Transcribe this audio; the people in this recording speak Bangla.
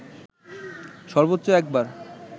সর্বোচ্চ একবার